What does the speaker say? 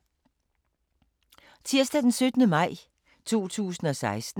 Tirsdag d. 17. maj 2016